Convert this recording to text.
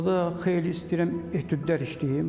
Orda xeyli istəyirəm etüdlər işləyim.